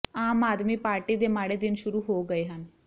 ਆਮ Aadmi party ਦੇ ਮਾੜੇ ਦਿਨ ਸ਼ੁਰੂ ਹੋ ਗਏ ਹਨ